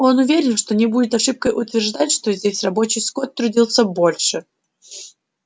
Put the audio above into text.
он уверен что не будет ошибкой утверждать что здесь рабочий скот трудится больше